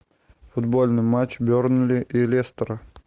футбольный матч бернли и лестера